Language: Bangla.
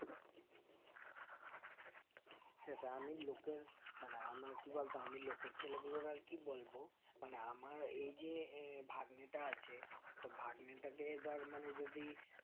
সেটাই আমি লোকে মানে মার্ কি বলতো আমি লোকের ছেলেগুলোর আর কি বলবো মানে আমার এই যে এ ভাগ্নিটা আছে তো ভাগ্নিটাকে ধর মানে যদি